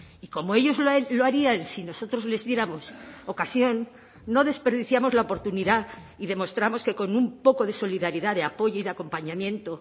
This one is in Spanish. y como ellos lo harían si nosotros les diéramos ocasión no desperdiciamos la oportunidad y demostramos que con un poco de solidaridad de apoyo y de acompañamiento